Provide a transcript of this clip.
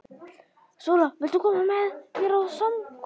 SÓLA: Viltu koma með mér á samkomu?